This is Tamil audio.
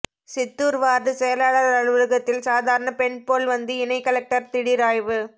சித்தூர் வார்டு செயலாளர் அலுவலகத்தில் சாதாரண பெண் போல் வந்து இணை கலெக்டர் திடீர் ஆய்வு